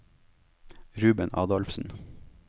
Ruben Adolfsen